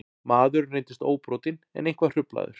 Maðurinn reyndist óbrotinn en eitthvað hruflaður